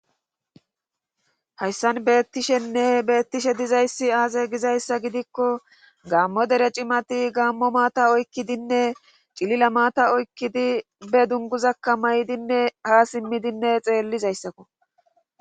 hayssan beettishenne beettishe dizayssi aaze gizayssa gidikko gaammo dere cimati gammo maata oykkidinne cilila maata oykkidi be dunguzakka maydinne ha simmidinne xeellizayssako